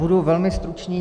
Budu velmi stručný.